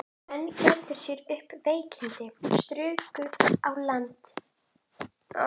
Menn gerðu sér upp veikindi, struku í land og svölluðu.